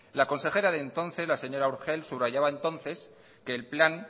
la consejera de entonces la señora urgell subrayaba entonces que el plan